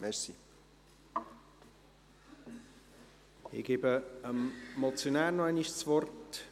Ich gebe dem Motionär nochmals das Wort.